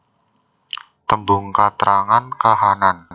Tembung katrangan kahanan